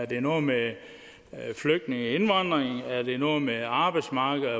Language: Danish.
det er noget med flygtningeindvandrere eller om det er noget med arbejdsmarkedet